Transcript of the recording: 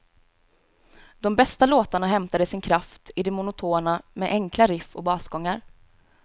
De bästa låtarna hämtade sin kraft i det monotona med enkla riff och basgångar.